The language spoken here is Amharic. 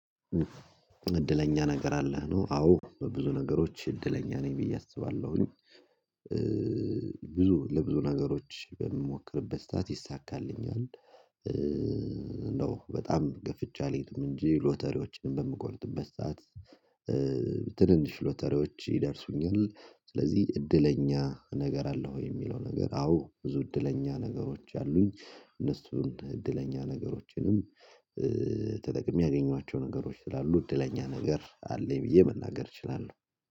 እድለኛ ነገር አለ ነው አዎ በብዙ ነገሮች እድለኛ ነኝ ብዬ አስባለሁኝ። ብዙ ለብዙ ነገሮች በምሞክርበት ሳዓት ይሳካልኛል፤ ነው በጣም ገፍቼ አልሄድም እንጂ ሎተሪዎችን በምቆርጥበት ሰዓት ትንንሽ ሎተሪዎች ይደርሱኛል ስለዚህ እድለኛ ነገር አለው የሚለው ነገር አዎ ብዙ እድለኛ ነገሮች አሉኝ። እነሱን እድለኛ ነገሮችንም ተጠቅሜ ያገኟቸው ነገሮች ስላሉ እድለኛ ነገር አለኝ ብዬ መናገር እችላለሁ።